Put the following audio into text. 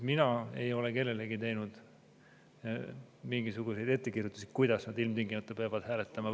Mina ei ole kellelegi teinud mingisuguseid ettekirjutusi, kuidas nad ilmtingimata peavad hääletama.